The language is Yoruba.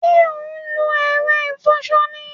Sé o n lo èro ìfoso ni?